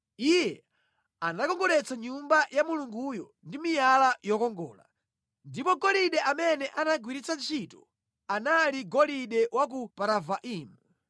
Iye anakongoletsa Nyumba ya Mulunguyo ndi miyala yokongola. Ndipo golide amene anagwiritsa ntchito anali golide wa ku Paravaimu.